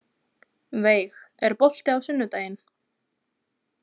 Veig, er bolti á sunnudaginn?